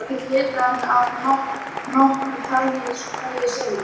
Það er ekkert litarefni af nokkru tagi í sólinni.